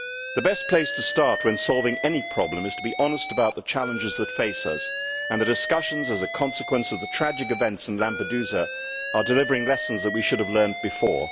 The best place to start when solving any problem is to be honest about the challenges that face us, and the discussions as a consequence of the tragic events in Lampedusa are delivering lessons that we should have learnt before.